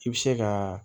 I bɛ se ka